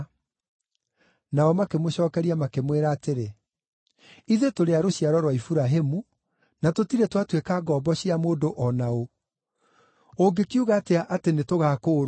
Nao makĩmũcookeria makĩmwĩra atĩrĩ, “Ithuĩ tũrĩ a rũciaro rwa Iburahĩmu, na tũtirĩ twatuĩka ngombo cia mũndũ o na ũ. Ũngĩkiuga atĩa atĩ nĩtũgakũũrwo?”